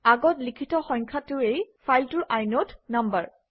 আগত লিখিত সংখাটোৱেই ফাইলটোৰ ইনদে নাম্বাৰ